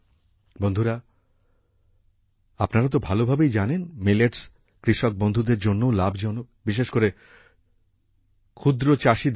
বন্ধুরা আপনারা তো ভালোভাবেই জানেন মিলটস কৃষক বন্ধুদের জন্যও লাভজনক বিশেষ করে ছোট পরিসরের চাষীদের জন্য